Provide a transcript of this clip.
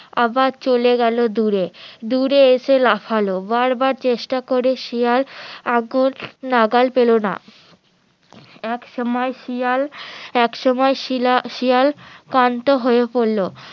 আবার চলে গেলো দূরে দূরে এসে লাফালো বার বার চেষ্টা করে শিয়াল নাগাল পেলো না একসময় শিয়াল ক্লান্ত হয়ে পড়লো